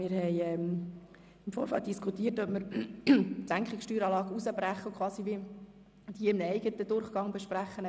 Wir haben im Vorfeld diskutiert, ob es sinnvoll wäre, die Senkung der Steueranlage herauszubrechen und sie in einem eigenen Durchgang zu behandeln.